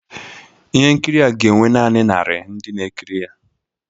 Ihe nkiri a ga-enwe naanị narị ndị na-ekiri ya